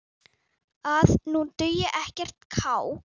að nú dugi ekkert kák!